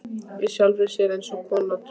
Í sjálfri sér eins konar trú.